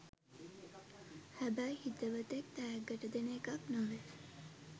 හැබැයි හිතවතෙක් තෑග්ගට දෙන එකක් නොවේ